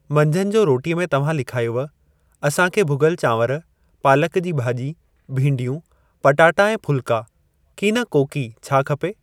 मंझंदि जो रोटीअ में तव्हां लिखायव, असां खे भुॻल चांवर, पालक जी भाॼी, भींडियूं, पटाटा ऐं फुल्का कि न कोकी छा खपे?